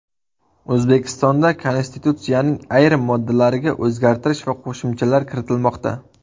O‘zbekistonda Konstitutsiyaning ayrim moddalariga o‘zgartish va qo‘shimchalar kiritilmoqda.